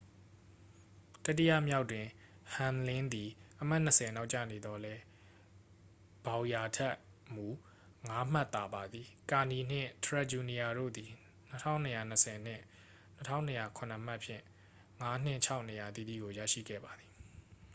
တတိယမြောက်တွင် ဟမ်လင်းသည် အမှတ်နှစ်ဆယ် နောက်ကျနေသော်လည်း ဘောင်ယာ ထက်မူ ငါးမှတ်သာပါသည် ကာနီနှင့် ထရက်ဂျူနီယာတို့သည် 2,220 နှင့် 2,207 မှတ်ဖြင့် ငါးနှင့်ခြောက် နေရာအသီးသီးကို ရရှိခဲ့ပါသည်